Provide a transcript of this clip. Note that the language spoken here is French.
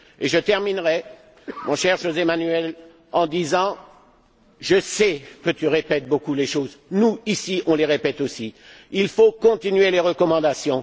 Je terminerai, mon cher José Manuel, en disant je sais que tu répètes beaucoup les choses, nous, ici, on les répète aussi qu'il faut continuer les recommandations.